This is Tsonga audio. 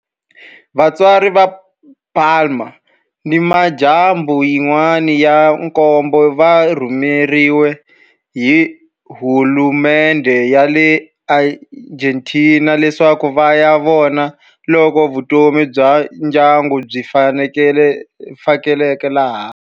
Vatswari va Palma ni mindyangu yin'wana ya nkombo va rhumeriwe hi hulumendhe ya le Argentina leswaku va ya vona loko vutomi bya ndyangu byi faneleka laha.